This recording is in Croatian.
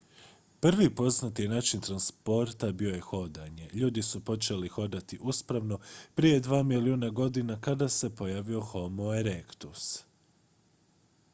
prvi poznati način transporta bio je hodanje ljudi su počeli hodati uspravno prije dva milijuna godina kada se pojavio homo erectus uspravni čovjek